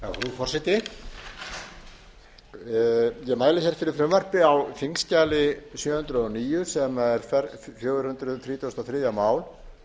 mæli hér fyrir frumvarpi á þingskjali sjö hundruð og níu sem er fjögur hundruð þrítugustu og þriðja mál en um